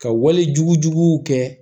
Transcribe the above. Ka wale juguw kɛ